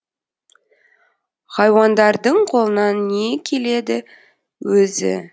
хайуандардың қолынан не келеді өзі